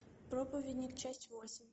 проповедник часть восемь